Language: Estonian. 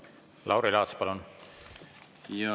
Lauri Laats, palun!